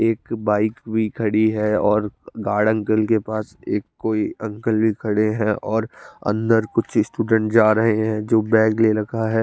एक बाइक भी खाड़ी है और गार्डन गिल के पास एक कोई अंकल खड़े है और अंदर कुछ स्टूडेंट जा रहे है जो बैग भी ले रखा है।